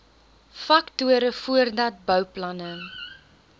faktore voordat bouplanne